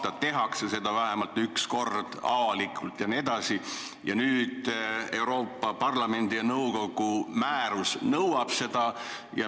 Nüüd nõutakse sätet, et seda tuleks avalikult tutvustada vähemalt üks kord aastas, kuna Euroopa Parlamendi ja nõukogu määrus nõuab seda.